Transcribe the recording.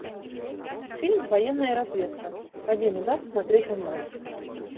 фильм военная разведка один удар смотреть онлайн